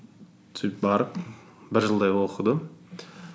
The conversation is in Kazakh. сөйтіп барып бір жылдай оқыдым